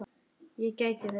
Ég gæti þess.